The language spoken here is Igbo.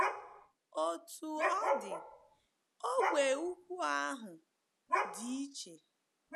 Otú ọ dị, ógbè ugwu ahụ dị iche.